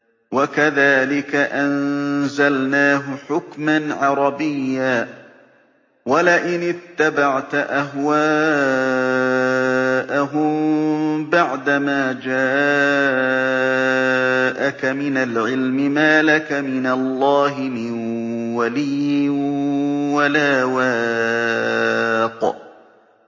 وَكَذَٰلِكَ أَنزَلْنَاهُ حُكْمًا عَرَبِيًّا ۚ وَلَئِنِ اتَّبَعْتَ أَهْوَاءَهُم بَعْدَمَا جَاءَكَ مِنَ الْعِلْمِ مَا لَكَ مِنَ اللَّهِ مِن وَلِيٍّ وَلَا وَاقٍ